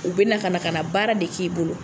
U bɛ na ka na ka na baara de k'i bolo